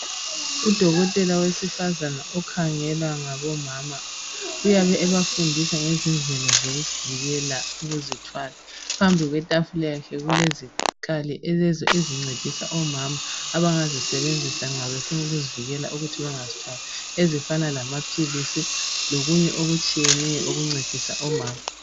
Udokotela wesifazana okhangele ngabomama uyabe ebafundisa ngendlela zokuvikela ukuzithwala phambi kwakhe kulezikhali ezincedisa ukuzivikela ukuthi bengazithwali ezzifana lamaphilisi lokunye okutshiyeneyo okuncedisa omama.